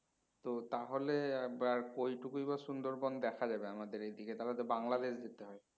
তো তাহলে আবার কোই টুকুই বা সুন্দরবন দেখা যাবে আমাদের এইদিকে তাহলে তো বাংলাদেশ যেতে হয়